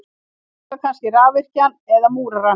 Taka kannski rafvirkjann eða múrarann.